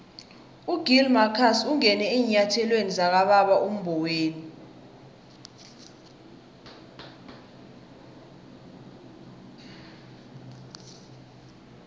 ugill marcus ungene eenyathelweni zikababa umboweni